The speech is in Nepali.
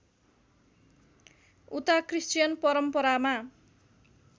उता क्रिश्चियन परम्परामा